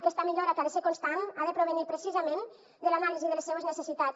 aquesta millora que ha de ser constant ha de provenir precisament de l’anàlisi de les seues necessitats